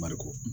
Mariku